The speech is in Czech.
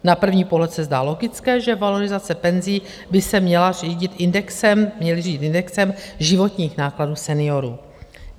Na první podhled se zdá logické, že valorizace penzí by se měly řídit indexem životních nákladů seniorů.